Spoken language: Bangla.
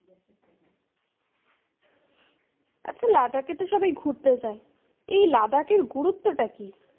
আচ্ছা, লাদাখে তো সবাই ঘুরতে যায়। এই লাদাখের গুরুত্বটা কি?